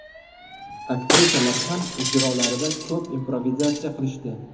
Aktrisalar ham ijrolarida ko‘p improvizatsiya qilishdi.